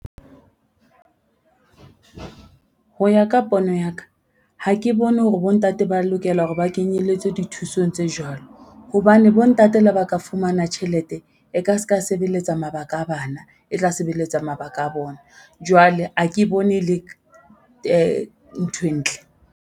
Ho ya ka pono ya ka, ha ke bone hore bontate ba lokela hore ba kenyelletse dithusong tse jwalo, hobane bontate le ba ka fumana tjhelete e ka ska sebeletsa mabaka a bana e tla sebeletsa mabaka a bona. Jwale ha ke bone e le nthwe ntle.